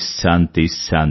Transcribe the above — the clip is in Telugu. శాంతి శాంతి